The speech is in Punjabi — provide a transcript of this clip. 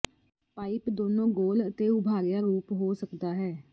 ਪਾਈਪ ਦੋਨੋ ਗੋਲ ਅਤੇ ਉਭਾਰਿਆ ਰੂਪ ਹੋ ਸਕਦਾ ਹੈ